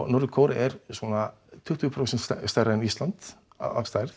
norður Kórea er svona tuttugu prósent stærra en Ísland að stærð